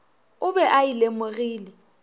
o be a e lemogile